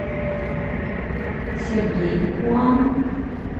сергей хуан